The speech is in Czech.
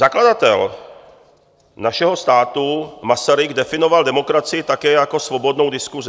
Zakladatel našeho státu Masaryk definoval demokracii také jako svobodnou diskusi.